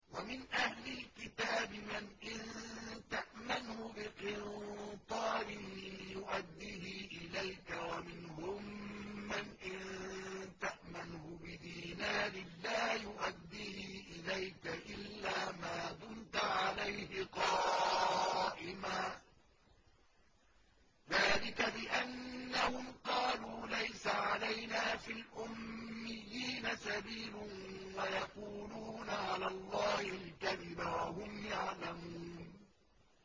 ۞ وَمِنْ أَهْلِ الْكِتَابِ مَنْ إِن تَأْمَنْهُ بِقِنطَارٍ يُؤَدِّهِ إِلَيْكَ وَمِنْهُم مَّنْ إِن تَأْمَنْهُ بِدِينَارٍ لَّا يُؤَدِّهِ إِلَيْكَ إِلَّا مَا دُمْتَ عَلَيْهِ قَائِمًا ۗ ذَٰلِكَ بِأَنَّهُمْ قَالُوا لَيْسَ عَلَيْنَا فِي الْأُمِّيِّينَ سَبِيلٌ وَيَقُولُونَ عَلَى اللَّهِ الْكَذِبَ وَهُمْ يَعْلَمُونَ